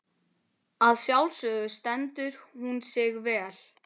Að sjálfsögðu stendur hún sig vel.